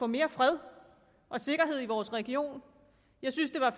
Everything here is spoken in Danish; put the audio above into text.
mere fred og sikkerhed i vores region jeg synes at